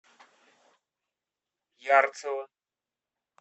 ярцево